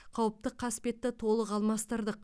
қауіпті қасбетті толық алмастырдық